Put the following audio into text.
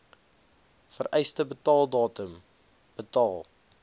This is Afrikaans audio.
vereiste betaaldatum betaal